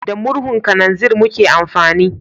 Da murhun kananzir muke amfani